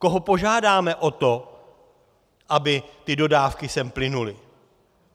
Koho požádáme o to, aby ty dodávky sem plynuly?